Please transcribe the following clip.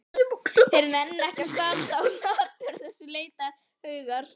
Þeir nenna ekki að standa á lappir þessir letihaugar!